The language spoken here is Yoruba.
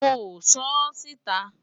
mo sọ ọ́ síta